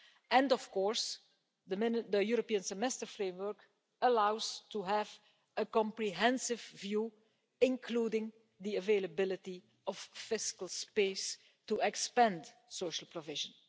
And, of course, the European Semester framework allows us to have a comprehensive view, including the availability of fiscal space to expand social provision.